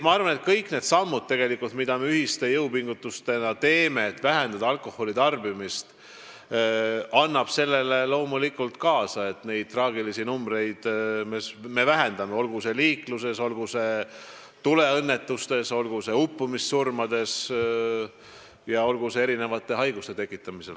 Ma arvan, et kõik need sammud, mida me ühiste jõupingutustena teeme alkoholitarbimise vähendamiseks, aitavad kaasa sellele, et traagilisi numbreid vähendada, olgu liikluses, tuleõnnetustes, uppumissurmades või kõikvõimalike haiguste tekkimisel.